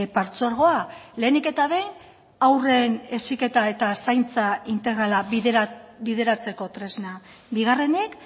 partzuergoa lehenik eta behin haurren heziketa eta zaintza integrala bideratzeko tresna bigarrenik